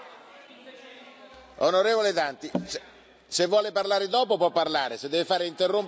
Onorevole Danti, se vuole parlare dopo può parlare, se deve interrompere adesso non vale la pena.